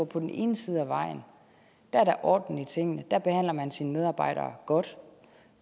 på den ene side af vejen er orden i tingene der behandler man sine medarbejdere godt